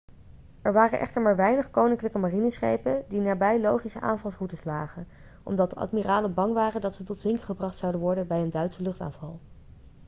er waren echter maar weinig koninklijke marineschepen die nabij logische aanvalsroutes lagen omdat de admiralen bang waren dat ze tot zinken gebracht zouden worden bij een duitse luchtaanval